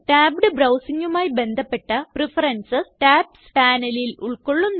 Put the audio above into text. tabbed browsingമായി ബന്ധപ്പെട്ട preferences tabs panelൽ ഉൾകൊള്ളുന്നു